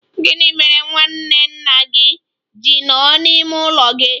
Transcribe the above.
Gị mere nwanne nna gị ji nọ n'ime ime ụlọ gị?